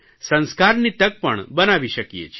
સંસ્કારની તક પણ બનાવી શકીએ છીએ